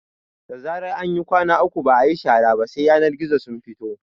Da zarar an yi kwana uku ba ayi shara ba sai yanar gizo su fito